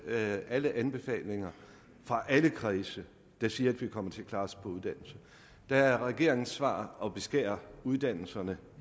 med alle anbefalinger fra alle kredse der siger at vi kommer til klare os på uddannelse der er regeringens svar at beskære uddannelserne